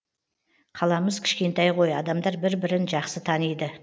қаламыз кішкентай ғой адамдар бір бірін жақсы таниды